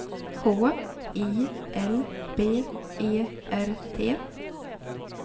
H I L B E R T